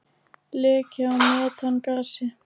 Leki á metangasi.